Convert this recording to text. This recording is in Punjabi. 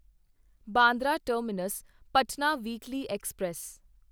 Bandra terminus Patna weekly express